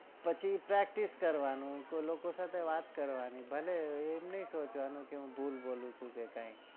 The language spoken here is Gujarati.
પછી practice કરવાનું અને લોકો સાથે વાત કરવા ની ભલે એમ નઈ સોચાવાનું કે હું ભૂલ બોલું છું કે કઈ